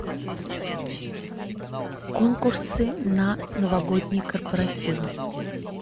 конкурсы на новогодние корпоративы